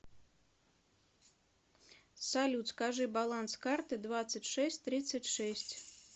салют скажи баланс карты двадцать шесть тридцать шесть